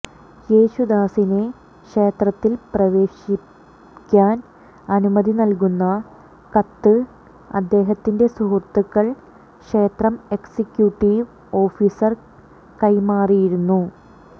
യേശുദാസിനെ ക്ഷേത്രത്തിൽ പ്രവേശിക്കാൻ അനുമതി നൽകുന്ന കത്ത് അദ്ദേഹത്തിന്റെ സുഹൃത്തുക്കൾ ക്ഷേത്രം എക്സിക്യൂട്ടീവ് ഓഫീസർ കൈമാറിയിരുന്നു